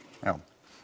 já